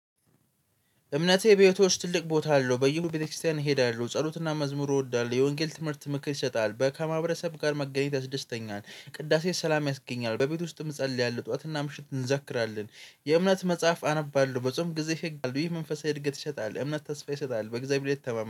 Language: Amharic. እምነቴ ቤቶች ትልቅ ቦታ አለው በየሁሉ ቤተክርስቲያን እሄዳለሁ ጸሎትና መዝሙሩ እወዳለሁ የወንጌል ትምህርት ምክር ይሰጣል በከማብረሰብ ጋር መገኘት ያስደስተኛል። ቅዳሴ ሰላም ያስገኛል በቤት ውስጥም እጸልያለሁ ጠዋትና ምሽት እንዘክራለን። የእምነት መጽሐፍ አነባለሁ በጾም ጊዜ ህግ ይህ መንፈሳዊ እድገት ይሸጣል እምነት ተስፋ ይሰጣል በእግዚአብሔር እተማመነ።